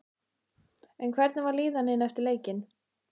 En hvernig var líðanin eftir leikinn?